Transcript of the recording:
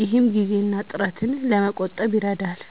ይህም ጊዜን እና ጥረትን ለመቆጠብ ይረዳል።